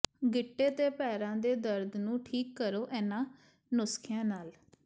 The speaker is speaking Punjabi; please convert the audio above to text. ਗਿੱਟੇ ਤੇ ਪੈਰਾਂ ਦੇ ਦਰਦ ਨੂੰ ਠੀਕ ਕਰੋ ਇਨ੍ਹਾਂ ਨੁਸਖਿਆਂ ਨਾਲ